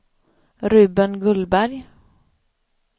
Ruben Gullberg